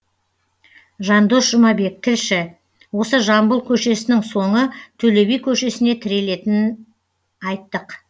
жандос жұмабек тілші осы жамбыл көшесінің соңы төлеби көшесіне тірелетінін айттық